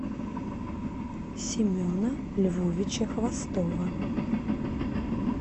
семена львовича хвостова